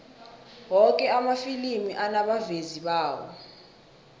woke amafilimi anabavezi bawo